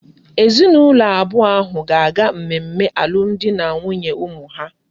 Ezi na ulo abuo ahu ga aga mmemme alum di na nwunye umu ha